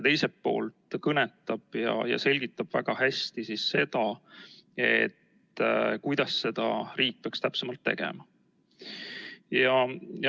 Teiselt poolt selgitab see väga hästi, kuidas riik peaks seda täpselt tegema.